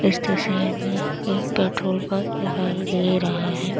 इस तस्वीर में एक पेट्रोल पंप दिखाई दे रहा है।